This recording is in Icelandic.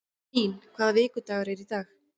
Rín, hvaða vikudagur er í dag?